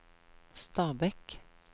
Stabekk